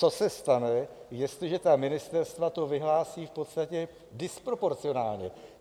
Co se stane, jestliže ta ministerstva to vyhlásí v podstatě disproporcionálně?